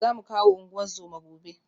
Za mu kawo ungozoma gobe